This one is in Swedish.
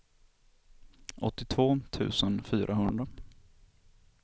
åttiotvå tusen fyrahundra